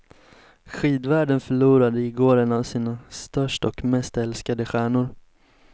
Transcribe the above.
Skidvärlden förlorade i går en av sina största och mest älskade stjärnor.